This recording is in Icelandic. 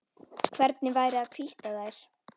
Hvernig væri að hvítta þær?